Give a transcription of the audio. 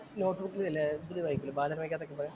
നോട്ട്ബുക്കിലില്ലേ ഇതില് വായിക്കില്ലേ ബാലരമയ്ക്ക് അകത്തൊക്കെ പറയാ.